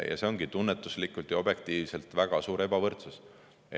Ja see ongi tunnetuslikult ja objektiivselt väga suur ebavõrdsus.